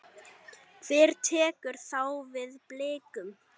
Hver tekur þá við Blikum?